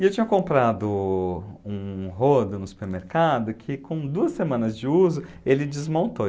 E eu tinha comprado um rodo no supermercado que, com duas semanas de uso, ele desmontou.